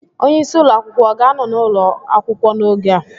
Onye isi ụlọ akwụkwọ ọ ga-anọ n'ụlọ akwụkwọ n'oge a?